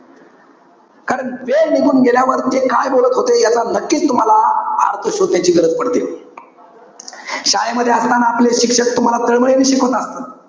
कारण वेळ निघून गेल्यावर ते काय बोलत होते. हे नक्कीच तुम्हाला अर्थ शोधण्याची गरज पडते. शाळेमध्ये असताना आपले शिक्षक तुम्हाला तळमळीने शिकवतात.